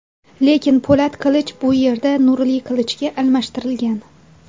Lekin, po‘lat qilich bu yerda nurli qilichga almashtirilgan.